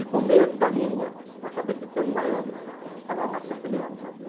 E com medo da língua, eu acabei ficando em Miami, porque falava mais castelhano, sabe?